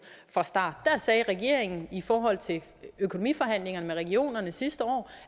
fra starten der sagde regeringen i forhold til økonomiforhandlingerne med regionerne sidste år